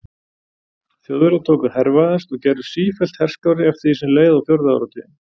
Þjóðverjar tóku að hervæðast og gerðust sífellt herskárri eftir því sem leið á fjórða áratuginn.